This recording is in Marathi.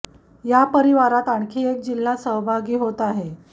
या परिवाराती आणखी एक जिल्हा सहभागी होत आहे